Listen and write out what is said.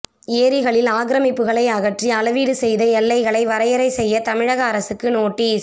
ஏரிகளில் ஆக்கிரமிப்புகளை அகற்றி அளவீடு செய்து எல்லைகளை வரையறை செய்ய தமிழக அரசுக்கு நோட்டீஸ்